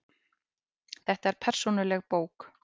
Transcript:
Þetta er persónuleg bók.